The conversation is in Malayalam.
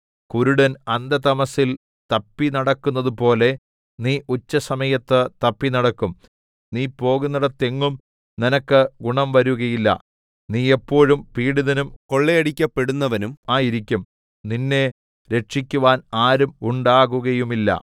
കുരുടൻ അന്ധതമസ്സിൽ തപ്പിനടക്കുന്നതുപോലെ നീ ഉച്ചസമയത്ത് തപ്പിനടക്കും നീ പോകുന്നേടത്തെങ്ങും നിനക്ക് ഗുണംവരുകയില്ല നീ എപ്പോഴും പീഡിതനും കൊള്ളയടിക്കപ്പെടുന്നവനും ആയിരിക്കും നിന്നെ രക്ഷിക്കുവാൻ ആരും ഉണ്ടാകുകയുമില്ല